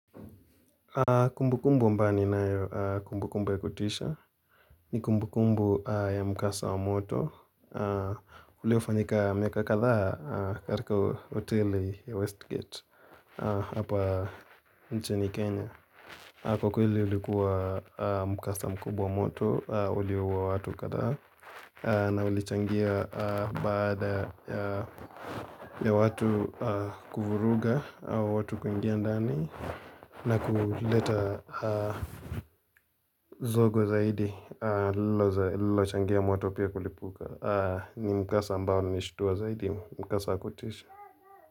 Kumbu kumbu ambayo ni na kumbu kumbu ya kutisha, ni kumbu kumbu ya mkasa wa moto, uliofanyika miaka katha katika hoteli ya Westgate hapa nchini Kenya. Kwa kweli ulikuwa mkasa mkubwa moto, uliuwa watu kadaa, na ulichangia baada ya watu kufuruga, watu kuingia ndani, na kuleta zogo zaidi, lilo changia moto pia kulipuka, ni mkasa ambao nishutuwa zaidi, mkasa wa kutisha.